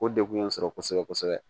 O degun ye n sɔrɔ kosɛbɛ kosɛbɛ